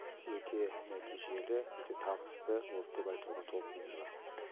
өте нәтижелі өте табысты болды деп айтуға толық негіз бар